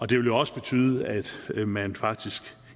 det vil jo også betyde at at man faktisk